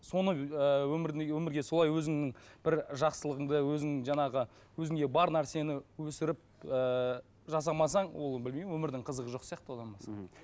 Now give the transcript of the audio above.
соны ыыы өмірдің өмірге солай өзіңнің бір жақсылығыңды өзің жаңағы өзіңде бар нәрсені өсіріп ііі жасамасаң ол білмеймін өмірдің қызығы жоқ сияқты одан басқа мхм